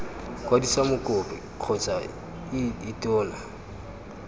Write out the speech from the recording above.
kwadisa mokopi kgotsa ii tona